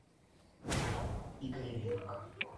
игорь линк